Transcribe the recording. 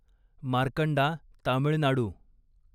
Markanda Tamil Nadu